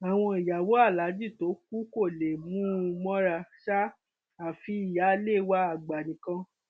àwọn ìyàwó aláàjì tó kù kò lè mú un mọra ṣáá àfi ìyáálé wa àgbà nìkan